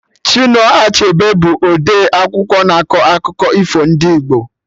Chinua Achebe bụ ọdee akwụkwọ na akọ akụkọ ifo ndị Igbo